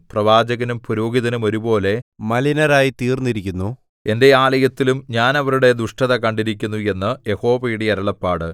പ്രവാചകനും പുരോഹിതനും ഒരുപോലെ മലിനരായിത്തീർന്നിരിക്കുന്നു എന്റെ ആലയത്തിലും ഞാൻ അവരുടെ ദുഷ്ടത കണ്ടിരിക്കുന്നു എന്ന് യഹോവയുടെ അരുളപ്പാട്